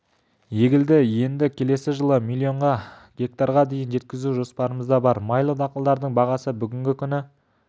егілді енді келесі жылы миллион гектарға дейін жеткізу жоспарымызда бар майлы дақылдардың бағасы бүгінгі күні